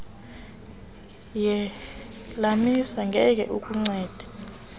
yelamuni ngeke ikuncede